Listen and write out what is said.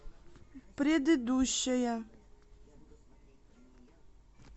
предыдущая